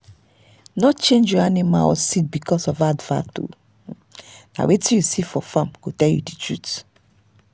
no change your animal or seed because of advert—na wetin you see for farm go tell you the truth.